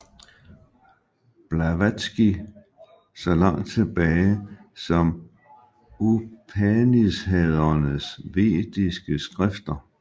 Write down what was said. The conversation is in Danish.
Blavatsky så langt tilbage som Upanishadernes vediske skrifter